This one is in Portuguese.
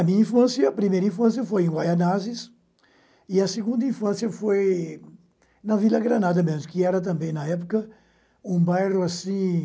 A minha infância, a primeira infância foi em Guaianases e a segunda infância foi na Vila Granada mesmo, que era também na época um bairro assim